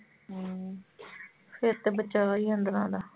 ਹਮ ਫਿਰ ਤੇ ਬਚਾਅ ਹੀ ਅੰਦਰਾਂ ਦਾ।